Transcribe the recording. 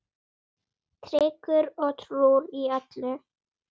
Tryggur og trúr í öllu.